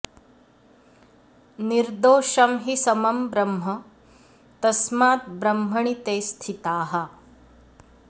निर्दोषम् हि समम् ब्रह्म तस्मात् ब्रह्मणि ते स्थिताः